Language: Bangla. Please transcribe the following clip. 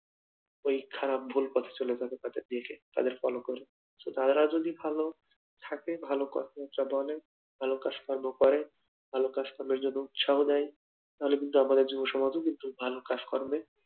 এই খারাপ ভুল পথে চলে যাবে তাদের দেখে তাদের follow করে তারা যদি ভালো থাকে ভালো কথাবার্তা বলে ভালো কাজকর্ম করে, ভালো কাজ কর্মের জন্য উৎসাহ দেয়। তাহলে আমাদের যুব সমাজ ও কিন্তু ভালো কাজকর্মে